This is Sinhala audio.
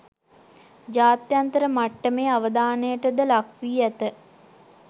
ජාත්‍යන්තර මට්ටමේ අවධානයටද ලක් වී ඇත